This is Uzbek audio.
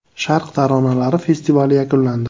“Sharq taronalari” festivali yakunlandi.